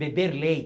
Beber